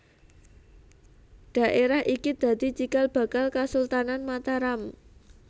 Dhaérah iki dadi cikal bakal Kasultanan Mataram